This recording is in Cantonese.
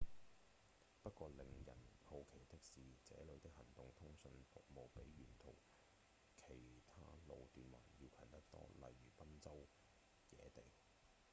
不過令人好奇的是這裡的行動通訊服務比沿途其他路段還要強得多例如賓州野地